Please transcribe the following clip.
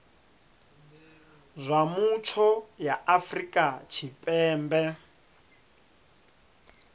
zwa mutsho ya afrika tshipembe